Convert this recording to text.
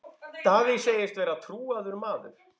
Davíð segist vera trúaður maður.